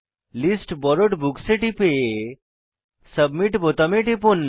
list borrowed books এ টিপে submit বোতামে টিপুন